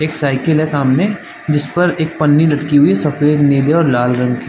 एक साइकिल है सामने जिस पर एक पानी लटकी हुई है सफेद नीले और लाल रंग की--